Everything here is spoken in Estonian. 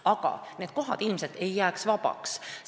Aga need kohad ilmselt ei jääks vabaks.